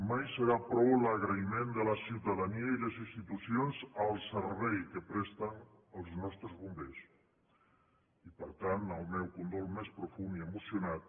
mai serà prou l’agraïment de la ciutadania i les institucions al servei que presten els nostres bombers i per tant el meu condol més profund i emocionat